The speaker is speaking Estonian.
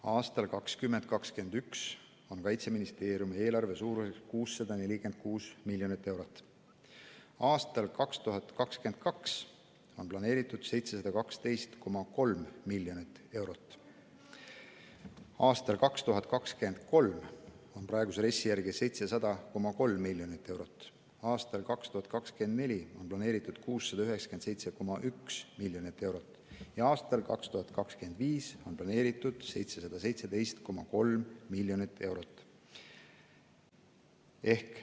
Aastal 2021 on Kaitseministeeriumi eelarve suurus 646 miljonit eurot, aastaks 2022 on planeeritud 712,3 miljonit eurot, aastal 2023 on praeguse RES-i järgi 700,3 miljonit eurot, aastaks 2024 on planeeritud 697,1 miljonit eurot ja aastaks 2025 on planeeritud 717,3 miljonit eurot.